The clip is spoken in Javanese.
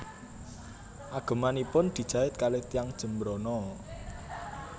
Agemanipun dijait kalih tiyang Jembrana